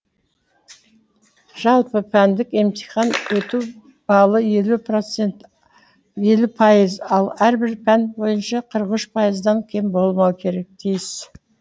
жалпы пәндік емтиханнан өту балы елу пайыз ал әрбір пән бойынша қырық пайыздан кем болмауы тиіс